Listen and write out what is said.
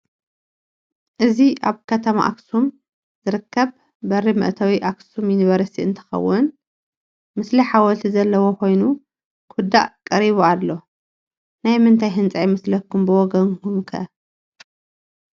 እዚ አብ ከተማ አክሱም ዝርከብ በሪ መእተዊ አክሱም ዩኒቨርስቲ እንትኸውን ምስሊ ሐወልቲ ዘለዎ ኮይኑ ክውዳእ ቀሪቡ አሎ። ናይ ምንታይ ህንፃ ይመስለኩም ብወገንኩም ከ?